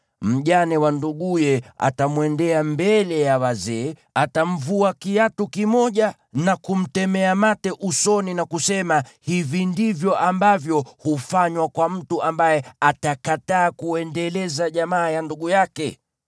mjane wa nduguye atamwendea mbele ya wazee, atamvua kiatu kimoja na kumtemea mate usoni, na kusema, “Hivi ndivyo ambavyo hufanywa kwa mtu ambaye atakataa kuendeleza jamaa ya ndugu yake.”